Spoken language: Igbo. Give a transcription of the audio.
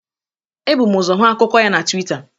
Ebụ m ọzọ hụ akụkụ ya na Twịta.